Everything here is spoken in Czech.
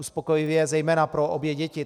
Uspokojivě zejména pro obě děti.